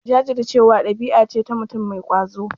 Jajircewa ɗabi'a ce ta mutum mai ƙwazo.